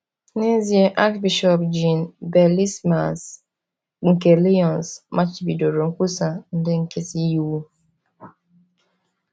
N’ezie, Archbishọp Jean Bellesmains nke Lyons machibidoro nkwusa ndị nkịtị iwu.